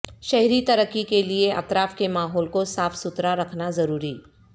شہری ترقی کیلئے اطراف کے ماحول کو صاف ستھرا رکھنا ضروری